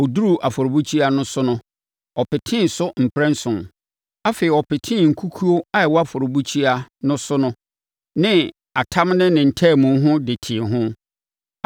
Ɔduruu afɔrebukyia no so no, ɔpetee so mprɛnson. Afei, ɔpetee nkukuo a ɛwɔ afɔrebukyia no so no ne atam ne ne ntaamu ho de tee ho.